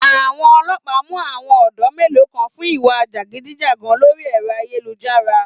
Àwọn ọlọpà mú àwọn ọ̀dọ́ melo kan fún ìwá jẹgúdújẹrá lórí ẹ̀rọ ayélujára